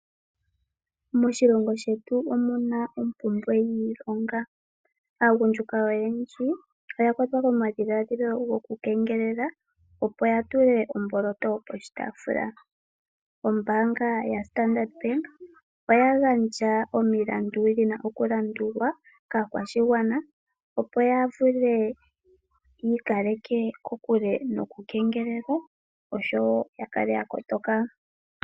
MoNamibia omuna ompumbwe yiilonga. Aagundjuka oyendji oyakwatwa komadhiladhilo goku kengelela opo ya tule omboloto poshitaafula. Ombaanga yoStandard Bank oyagandja omilandu dhina okulandulwa kaakwashigwana opo ya vule okwiikaleka kokule noku kengelelwa osho wo ya kale ya kotoka.